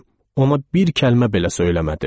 Ona bir kəlmə belə söyləmədim.